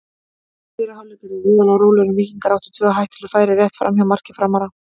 Fyrri hálfleikur var voðalega rólegur en Víkingar áttu tvö hættuleg færi rétt framhjá marki Framara.